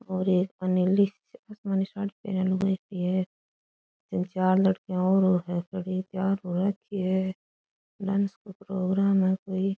और एकानी आसमानी साड़ी पहरया लुगाई खड़ी है इम चार लड़कियां और खड़ी तैयार हो राखी है डांस को प्रोग्राम है कोई।